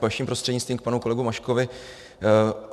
Vaším prostřednictvím k panu kolegovi Maškovi.